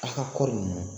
A ka kɔɔri nunnu